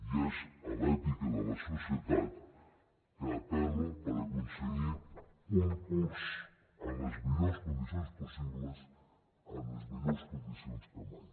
i és a l’èpica de la societat que apel·lo per aconseguir un curs en les millors condicions possibles en les millors condicions que mai